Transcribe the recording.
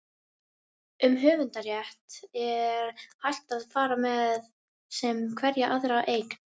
um höfundarrétt er hægt að fara með sem hverja aðra eign